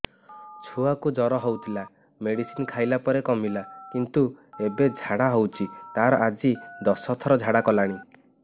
ଛୁଆ କୁ ଜର ହଉଥିଲା ମେଡିସିନ ଖାଇଲା ପରେ କମିଲା କିନ୍ତୁ ଏବେ ଝାଡା ହଉଚି ତାର ଆଜି ଦଶ ଥର ଝାଡା କଲାଣି